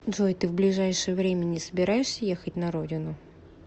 джой ты в ближайшее время не собираешься ехать на родину